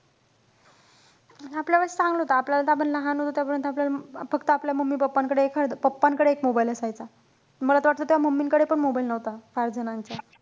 आपल्या वेळेस चांगलं होतं. आपल्या वेळेला त आपण लहान होतो तोपर्यंत, आपल्याला, फक्त आपल्या mummy pappa कडे एखाद pappa कडे एक mobile असायचा. मला त वाटतं तेव्हा mummy कडे पण mobile नव्हता फार जणांच्या.